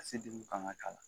fanga k'ala